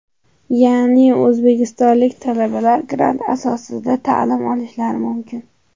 Ya’ni O‘zbekistonlik talabalar grant asosida ta’lim olishlari mumkin.